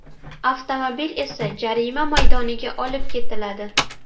Avtomobil esa jarima maydoniga olib ketiladi.